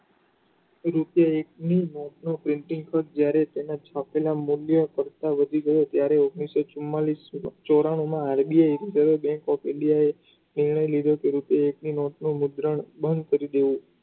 રીતે એક ની નોટનું printing code જ્યારે તેની છાપેલા મૂલ્યો કરતા વધી ગયો ત્યારે ઓગણીસો ચુમાંલીસ ચોરાણું માં RBI reserve bank of india એ એવો નિર્ણય લીધો એક નોટનું મુદ્રણ બંધ કરી દેવું.